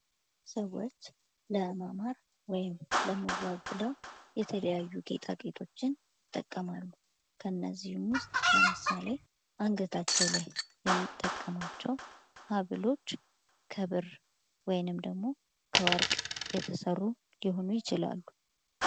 ሰዎች ለማማር ወይም ለመዋብ ብለው የተለያዩ ጌጣጌጦችን ይጠቀማሉ። ከነዚህም ውስጥ ለምሳሌ አንገታቸው ላይ የሚጠቀሟቸው ሀብሎች ከብር ወይንም ደግሞ ከወርቅ የተሰሩ ሊሆኑ ይችላሉ።